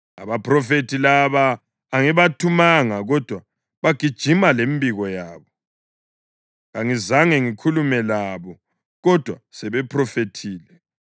Abaphrofethi laba angibathumanga; kodwa bagijima lemibiko yabo; kangizange ngikhulume labo, kodwa sebephrofethile.